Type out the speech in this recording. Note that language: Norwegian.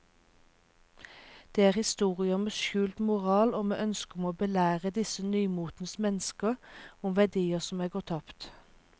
Det er historier med skjult moral og med ønske om å belære disse nymotens mennesker om verdier som er gått tapt.